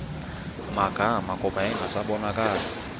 magama kuba yayingasabonakali